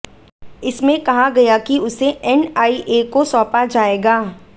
इसमें कहा गया कि उसे एनआईए को सौंपा जाएगा